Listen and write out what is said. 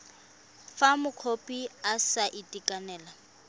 fa mokopi a sa itekanela